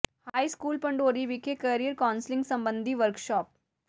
high school Pandori ਵਿਖੇ career counselling ਸਬੰਧੀ workshop